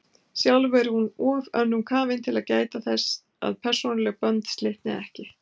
Sjálf er hún of önnum kafin til að gæta þess að persónuleg bönd slitni ekki.